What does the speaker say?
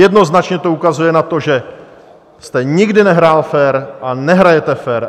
Jednoznačně to ukazuje na to, že jste nikdy nehrál fér a nehrajete fér.